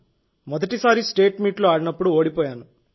మొదటిసారి state meet లో ఆడినప్పుడు ఓడిపోయాను